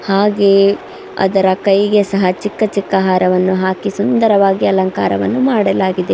ಹಾಗೆಯೇ ಅದರ ಕೈ ಗೆ ಸಹ ಚಿಕ್ಕ ಚಿಕ್ಕ ಹಾರವನ್ನು ಹಾಕಿ ಸುಂದರವಾಗಿ ಅಲಂಕಾರವನ್ನು ಮಾಡಲಾಗಿದೆ.